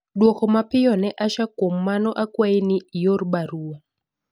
dwoko mapiyo ne Asha kuom mano akwayi ni ior barua